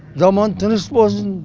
заман тыныш болсын